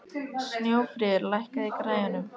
Snjófríður, lækkaðu í græjunum.